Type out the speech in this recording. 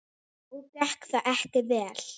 Og gekk það ekki vel.